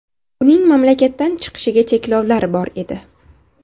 Uning mamlakatdan chiqishiga cheklovlar bor edi.